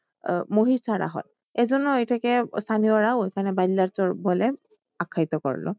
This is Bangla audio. আহ মহিষ ছাড়া হয় এই জন্য এটাকে স্থানীয়রা ওই খানে বালিয়া চর বলে আখ্যায়িত করলো।